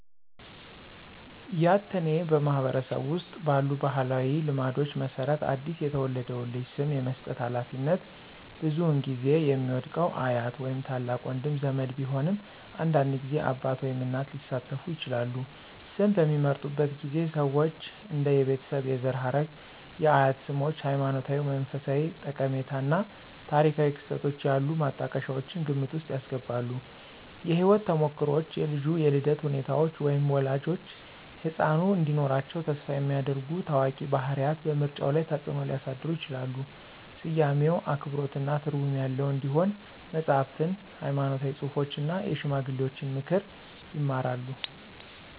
ያትአኔ ማህበረሰብ ውስጥ ባሉ ባህላዊ ልማዶች መሰረት አዲስ የተወለደውን ልጅ ስም የመስጠት ሃላፊነት ብዙውን ጊዜ የሚወድቀው አያት ወይም ታላቅ ወንድ ዘመድ ቢሆንም አንዳንድ ጊዜ አባት ወይም እናት ሊሳተፉ ይችላሉ። ስም በሚመርጡበት ጊዜ ሰዎች እንደ የቤተሰብ የዘር ሐረግ፣ የአያት ስሞች፣ ሃይማኖታዊ ወይም መንፈሳዊ ጠቀሜታ እና ታሪካዊ ክስተቶች ያሉ ማጣቀሻዎችን ግምት ውስጥ ያስገባሉ። የህይወት ተሞክሮዎች, የልጁ የልደት ሁኔታዎች, ወይም ወላጆች ህጻኑ እንዲኖራቸው ተስፋ የሚያደርጉ ታዋቂ ባህሪያት በምርጫው ላይ ተጽእኖ ሊያሳድሩ ይችላሉ. ስያሜው አክብሮትና ትርጉም ያለው እንዲሆን መጽሐፍትን፣ ሃይማኖታዊ ጽሑፎችን እና የሽማግሌዎችን ምክር ይማራሉ።